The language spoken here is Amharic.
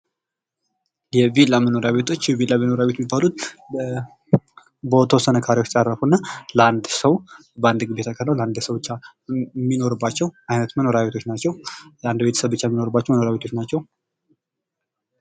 የቪላ መኖሪያ ቤቶች ፦ የቪላ መኖሪያ ቤቶች የሚባሉት በተወሰኑ ካሪዎች ላይ ያረፉና ለአንድ ሰው በአንድ ግቢ ለአንድ ሰው ብቻ የሚኖርባቸው አይነት መኖሪያ ቤቶች ናቸው ። ላንድ ቤተሰብ ብቻ የሚኖርባቸው መኖሪያ ቤቶች ናቸው ።